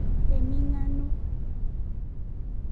Emingano.